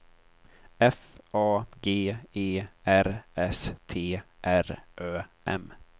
F A G E R S T R Ö M